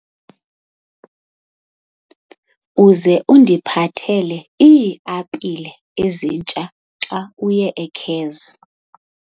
Uze undiphathele iiapile ezitsha xa uye eCeres.